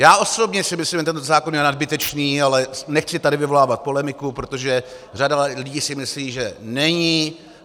Já osobně si myslím, že tento zákon je nadbytečný, ale nechci tady vyvolávat polemiku, protože řada lidí si myslí, že není.